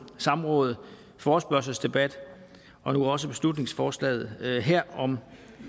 samråd forespørgselsdebat og nu også beslutningsforslaget her om